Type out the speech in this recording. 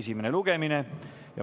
esimene lugemine.